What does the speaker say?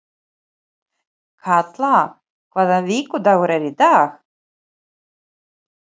Kalla, hvaða vikudagur er í dag?